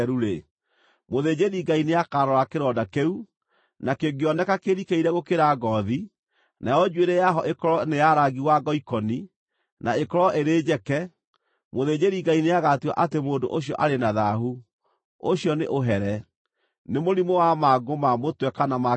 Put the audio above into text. mũthĩnjĩri-Ngai nĩakarora kĩronda kĩu, na kĩngĩoneka kĩrikĩire gũkĩra ngoothi, nayo njuĩrĩ yaho ĩkorwo nĩ ya rangi wa ngoikoni, na ĩkorwo ĩrĩ njeke, mũthĩnjĩri-Ngai nĩagatua atĩ mũndũ ũcio arĩ na thaahu; ũcio nĩ ũhere, nĩ mũrimũ wa mangũ ma mũtwe kana ma kĩreru.